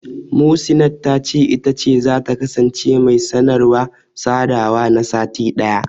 Muhsinat ta ce, ita ce zata kasance mai sanarwa/sadawa na sati ɗaya.